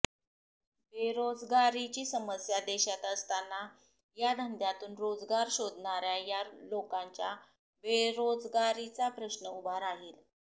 बेरोजगारीची समस्या देशात असताना या धंद्यातून रोजगार शोधणाऱ्या या लोकांच्या बेरोजगारीचा प्रश्न उभा राहील